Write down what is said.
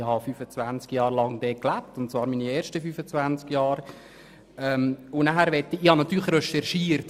Natürlich habe ich betreffend die Geografie recherchiert.